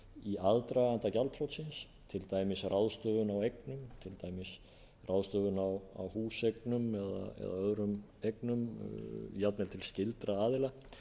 í aðdraganda gjaldþrotsins til dæmis ráðstöfun á eignum til dæmis ráðstöfun á húseignum eða öðrum eignum jafnvel til skyldra aðila